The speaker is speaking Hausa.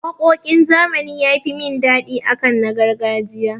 Waƙoƙin zamani ya fi mun daɗi akan na gargajiya.